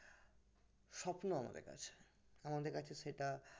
স্বপ্ন আমাদের কাছে আমাদের কাছে সেটা